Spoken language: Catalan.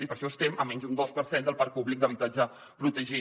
i per això estem en menys d’un dos per cent del parc públic d’habitatge protegit